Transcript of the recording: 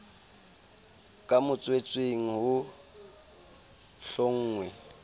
ka motswetseng ho sa hlonngwe